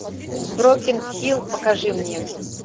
брокен хилл покажи мне